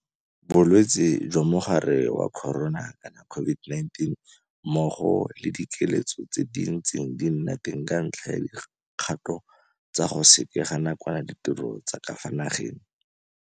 Bolwetse jwa Mogare wa Corona, COVID-19, mmogo le dikiletso tse di ntseng di nna teng ka ntlha ya dikgato tsa go sekega nakwana ditiro tsa ka fa nageng.